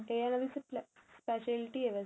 ਤੇ ਇਹਨਾ ਦੀ specialty ਵੈਸੇ